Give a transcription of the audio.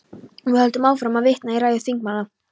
Við höldum áfram að vitna í ræður þingmanna.